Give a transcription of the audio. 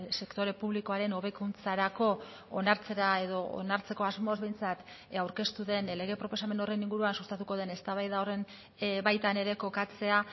sektore publikoaren hobekuntzarako onartzera edo onartzeko asmoz behintzat aurkeztu den lege proposamen horren inguruan sustatuko den eztabaida horren baitan ere kokatzea